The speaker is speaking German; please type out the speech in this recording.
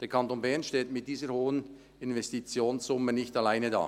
Der Kanton Bern steht mit dieser hohen Investitionssumme nicht alleine da.